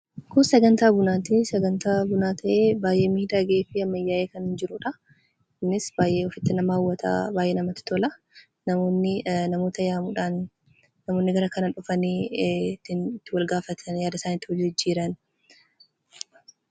Kun sagantaa bunaati. Sagantaa bunaa ta'ee baay'ee miidhagee fi ammayyaa'ee kan jirudha. Innis baay'ee ofitti nama hawwata, baay'ee namatti tola. Namoonni walitti yaa'uudhaan kafa gara garaa irraa walitti dhufanii bakka yaada isaanii itti wal jijjiiranidha.